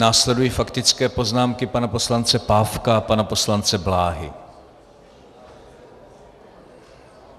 Následující faktické poznámky pana poslance Pávka a pana poslance Bláhy.